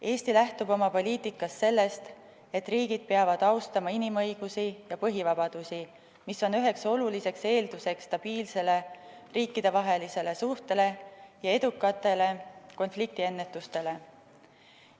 Eesti lähtub oma poliitikas sellest, et riigid peavad austama inimõigusi ja põhivabadusi, mis on üheks oluliseks eelduseks stabiilsele riikidevahelistele suhetele ja edukale konfliktiennetusele.